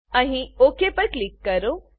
અહીં ઓક પર ક્લિક કરો